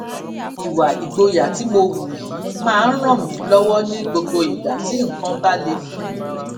ìwà ìgboyà tí mo hù yìí máa ń ràn mí lówó ní gbogbo ìgbà tí nǹkan bá le fún mi